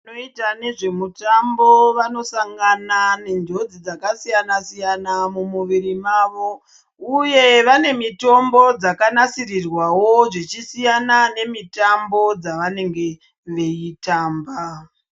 Vanoita nezve mitambo vanosangana nenjodzi dzakasiyana-siyana mumuvuri mavo uye vane mitombo dzakanasirirwawo zvichisiyana nemitambo yavanenge veitamba.